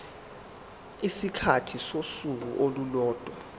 isikhathi sosuku olulodwa